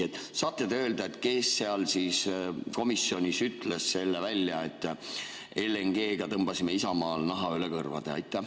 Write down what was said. Kas te saate öelda, kes seal komisjonis ütles selle välja, et LNG‑ga tõmbasime Isamaal naha üle kõrvade?